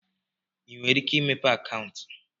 ị nwere ike imepe akaụntụ?